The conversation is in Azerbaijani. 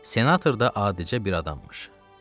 Senatorda adicə bir adammış.